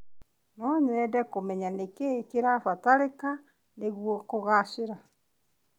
No nyende kũmenya nĩ kĩ kĩrabataranĩka nĩguo kũgacĩra.